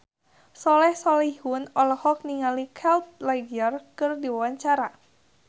Soleh Solihun olohok ningali Heath Ledger keur diwawancara